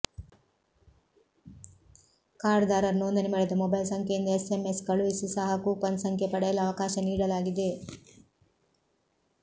ಕಾರ್ಡ್ದಾರರು ನೋಂದಣಿ ಮಾಡಿದ ಮೊಬೈಲ್ ಸಂಖ್ಯೆಯಿಂದ ಎಸ್ಎಂಎಸ್ ಕಳುಹಿಸಿ ಸಹ ಕೂಪನ್ ಸಂಖ್ಯೆ ಪಡೆಯಲು ಅವಕಾಶ ನೀಡಲಾಗಿದೆ